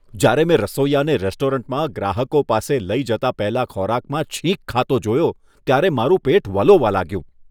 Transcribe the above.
જ્યારે મેં રસોઈયાને રેસ્ટોરન્ટમાં ગ્રાહકો પાસે લઈ જતા પહેલા ખોરાકમાં છીંક ખાતો જોયો, ત્યારે મારું પેટ વલોવા લાગ્યું.